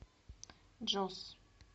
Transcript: джос